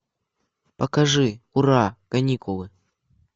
покажи ура каникулы